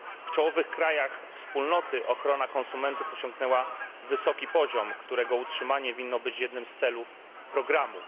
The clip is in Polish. W czołowych krajach Wspólnoty ochrona konsumentów osiągnęła wysoki poziom, którego utrzymanie powinno być jednym z celów programu.